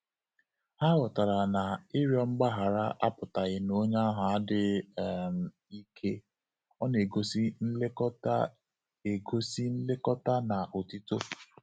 Ha ghọtara na ịrịọ mgbaghara apụtaghị na onye ahụ adịghị um ike - Ọ na egosi nlekọta egosi nlekọta na otito